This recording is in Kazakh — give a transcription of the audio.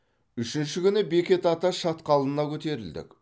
үшінші күні бекет ата шатқалына көтерілдік